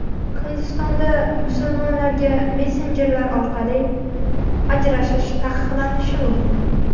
Hindistonda musulmonlarga messenjerlar orqali ajrashish taqiqlanishi mumkin.